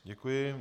Děkuji.